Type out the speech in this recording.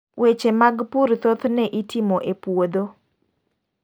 Weche mag pur thothne itimo e poudho.